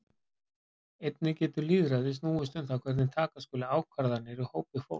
Einnig getur lýðræði snúist um það hvernig taka skuli ákvarðanir í hópi fólks.